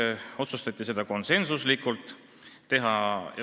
See otsustati konsensuslikult.